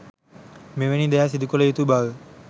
මෙවැනි දෑ සිදු කළ යුතු බව